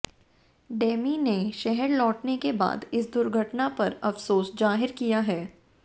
Demi ने शहर लौटने के बाद इस दुर्घटना पर अफसोस जाहिर किया है